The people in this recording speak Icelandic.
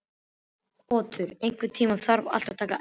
Otur, einhvern tímann þarf allt að taka enda.